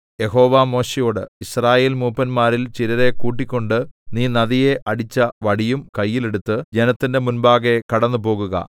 യഹോവ മോശെയോട് യിസ്രായേൽമൂപ്പന്മാരിൽ ചിലരെ കൂട്ടിക്കൊണ്ട് നീ നദിയെ അടിച്ച വടിയും കയ്യിൽ എടുത്ത് ജനത്തിന്റെ മുമ്പാകെ കടന്നുപോകുക